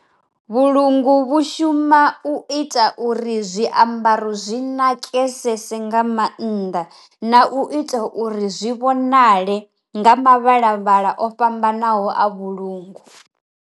Vhulungu vhu shuma u ita uri zwiambaro zwi nakesese nga mannḓa na u ita uri zwi vhonale nga ma vhala vhala o fhambanaho a vhulungu.